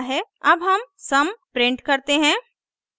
अब हम sum print करते हैं